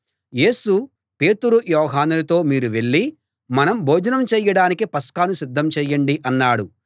యేసు పేతురు యోహానులతో మీరు వెళ్ళి మనం భోజనం చేయడానికి పస్కాను సిద్ధం చేయండి అన్నాడు